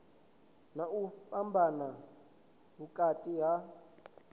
na u fhambanya vhukati ha